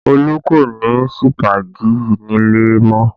Olu kò ní sípàgì nílé mọ́